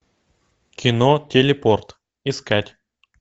кино телепорт искать